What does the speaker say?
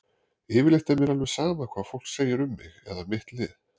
Yfirleitt er mér alveg sama hvað fólk segir um mig eða mitt lið.